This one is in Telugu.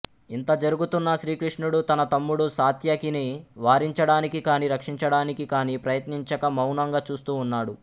ఇంత జరుగుతున్నా శ్రీకృష్ణుడు తన తమ్ముడు సాత్యకిని వారించడానికి కాని రక్షించడానికి కాని ప్రయత్నించక మౌనంగా చూస్తూ ఉన్నాడు